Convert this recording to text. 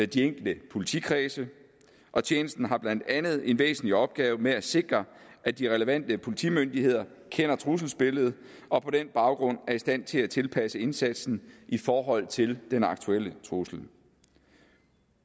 de enkelte politikredse og tjenesten har blandt andet en væsentlig opgave med at sikre at de relevante politimyndigheder kender trusselsbilledet og på den baggrund er i stand til at tilpasse indsatsen i forhold til den aktuelle trussel